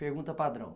Pergunta padrão.